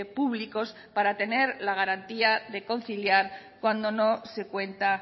públicos para tener la garantía de conciliar cuando no se cuenta